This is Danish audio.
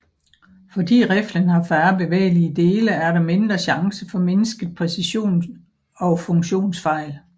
Fordi riflen har færre bevægelige dele er der mindre chanche for mindsket præcision og funktionsfejl